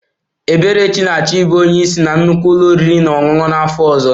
Eberechi na-achọ ịbụ onye isi na nnukwu ụlọ oriri na ọṅụṅụ n'afọ ọzọ